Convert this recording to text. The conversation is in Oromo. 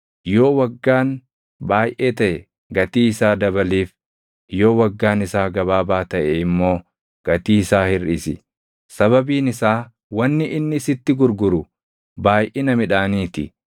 Yoo waggaan baayʼee taʼe gatii isaa dabaliif; yoo waggaan isaa gabaabaa taʼe immoo gatii isaa hirʼisi; sababiin isaa wanni inni sitti gurguru baayʼina midhaanii ti.